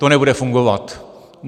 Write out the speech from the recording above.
To nebude fungovat.